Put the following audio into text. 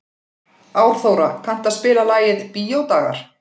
Árþóra, kanntu að spila lagið „Bíódagar“?